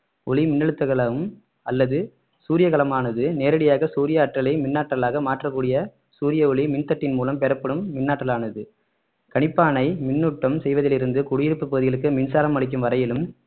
ஒளி மின்னழுத்தக்கலம் அல்லது சூரியகலமானது நேரடியாக சூரிய ஆற்றலை மின் ஆற்றலாக மாற்றக்கூடிய சூரிய ஒளி மின்தட்டின் மூலம் பெறப்படும் மின் ஆற்றலானது கணிப்பானை மின்னூட்டம் செய்வதிலிருந்து குடியிருப்பு பகுதிகளுக்கு மின்சாரம் அளிக்கும் வரையிலும்